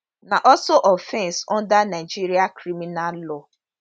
na also offence under nigeria criminal law